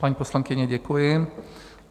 Paní poslankyně, děkuji.